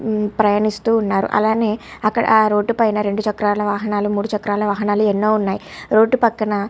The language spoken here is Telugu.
ప్రయాణిస్తూ ఉన్నారు అలానే అక్కడ రోడ్ పైన రెండు చక్రాల వాహనాలు మూడు చక్రాల వాహనాలు ఎన్నో ఉన్నాయి రోడ్డు పక్కన --